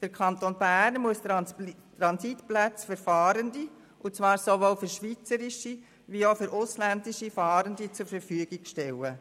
Der Kanton Bern muss Transitplätze für Fahrende – und zwar sowohl für schweizerische als auch für ausländische Fahrende – zur Verfügung stellen.